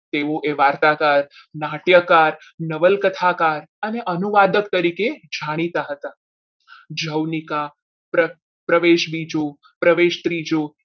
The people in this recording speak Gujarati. તેઓએ વાર્તા નાટ્યકાર નવલકથાકાર અને અનુવાદક તરીકે જાણીતા હતા. જૌનિકા પ્રવેશ બીજો પ્રવેશ ત્રીજો